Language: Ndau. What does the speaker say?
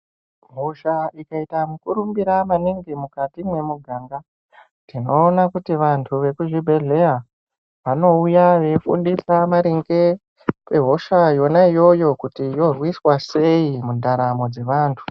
Hosha ikaita mukurumbira maningi mukati mwemu ganga tinoona kuti vantu vekuzvi bhedhlera vanouya vei fundisa maringe ne hosha yona iyoyo kuti yorwiswa sei mundaramo dze vantu.